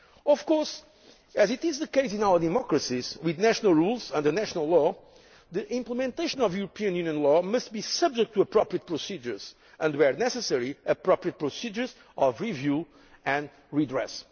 Of course, as is the case in our democracies with national rules under national law, the implementation of European Union law must be subject to appropriate procedures and, where necessary, to appropriate procedures of review and redress.